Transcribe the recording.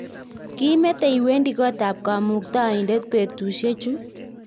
kimetee iwendi kootab kamuktaindet betusiechu